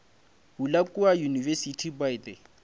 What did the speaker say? bula kua university by the